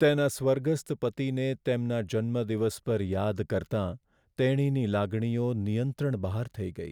તેના સ્વર્ગસ્થ પતિને તેમના જન્મદિવસ પર યાદ કરતાં તેણીની લાગણીઓ નિયંત્રણ બહાર થઈ ગઈ.